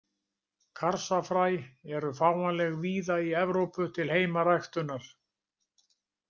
Karsafræ eru fáanleg víða í Evrópu til heimaræktunar.